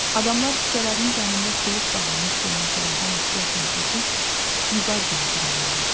Adamlar küçələrin canında suluq bağlamış gölməçələrdən ehtiyatla keçib Vüqargilə burulurdular.